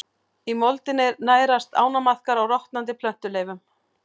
Í moldinni nærast ánamaðkar á rotnandi plöntuleifum.